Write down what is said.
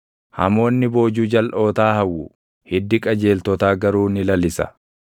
Hamoonni boojuu jalʼootaa hawwu; hiddi qajeeltotaa garuu ni lalisa.